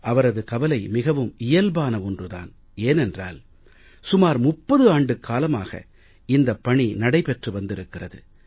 அவரது கவலை மிகவும் இயல்பான ஒன்று தான் ஏனென்றால் சுமார் 30 ஆண்டுக்காலமாக இந்தப் பணி நடைபெற்று வந்திருக்கிறது